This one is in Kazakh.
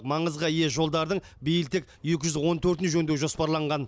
маңызға ие жолдардың биыл тек екі жүз он төртін жөндеу жоспарланған